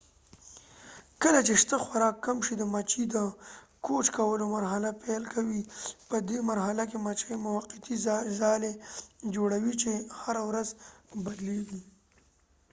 کله چې شته خوراک کم شي د مچۍ د کوچ کولو مرحله پیل کوي په دي مرحله کې مچۍ موقتی ځالې جوړوي چې هره ورځ بدلیږی